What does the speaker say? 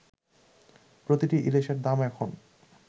প্রতিটি ইলিশের দাম এখন